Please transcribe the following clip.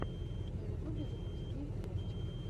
на ютубе запусти левчик